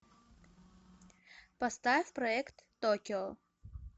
поставь проект токио